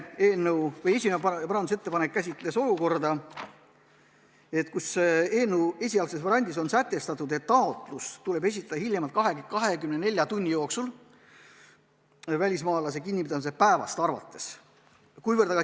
Esimene käsitles seda, et eelnõu esialgses variandis on sätestatud, et taotlus tuleb esitada hiljemalt 24 tunni jooksul välismaalase kinnipidamise päevast arvates.